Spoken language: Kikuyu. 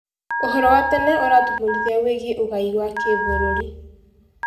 ũhoro wa tene ũratũbundithia wĩgiĩ ũgai wa gĩbũrũri.